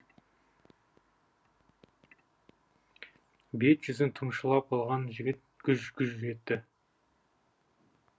бет жүзін тұмшалап алған жігіт гүж гүж етті